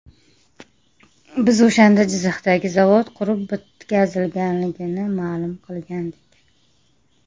Biz o‘shanda Jizzaxdagi zavod qurib bitkazilganini ma’lum qilgandik.